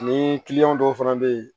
Ni kiliyanw dɔw fana bɛ yen